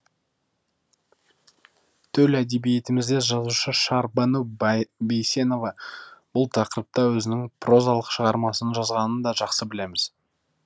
төл әдебиетімізде жазушы шәрбану бейсенова бұл тақырыпта өзінің прозалық шығармасын жазғанын да жақсы білеміз